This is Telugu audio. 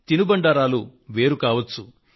తినుబండారాలు అనేకం కావచ్చు